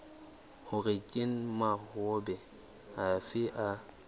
hore ke mahola afe a